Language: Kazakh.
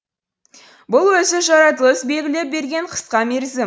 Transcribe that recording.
бұл өзі жаратылыс белгілеп берген қысқа мерзім